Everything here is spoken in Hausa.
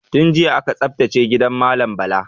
Tun jiya aka tsaftace gidan malam Bala.